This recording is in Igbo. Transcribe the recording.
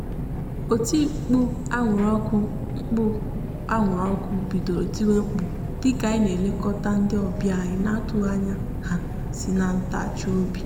oti mkpu anwụrụ ọkụ mkpu anwụrụ ọkụ bidoro tiwe mkpu dịka anyị na-elekọta ndị ọbịa anyị n'atụghị anya ha si n'agbataobi anyị.